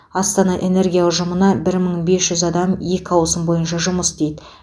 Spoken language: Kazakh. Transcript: астана энергия ұжымына бір мың бес жүз адам екі ауысым бойынша жұмыс істейді